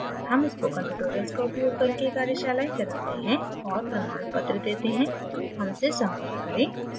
हम spoken tutorials का उपयोग करके कार्यशालाएं चलाते हैं और प्रमाणपत्र देते हैं हमसे संपर्क करें